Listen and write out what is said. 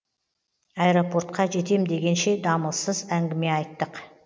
аэропортқа жетем дегенше дамылсыз әңгіме айттық